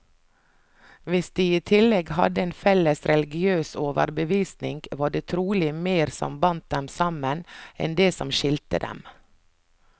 Hvis de i tillegg hadde en felles religiøs overbevisning, var det trolig mer som bandt dem sammen, enn det som skilte dem.